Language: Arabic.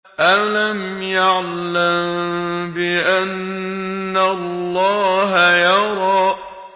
أَلَمْ يَعْلَم بِأَنَّ اللَّهَ يَرَىٰ